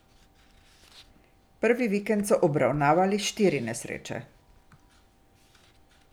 Prvi vikend so obravnavali štiri nesreče.